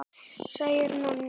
segir Nonni.